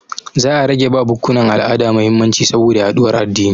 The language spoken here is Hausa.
Za a rage ba bukkunan al'ada mahimmanci saboda yaɗuwar addini.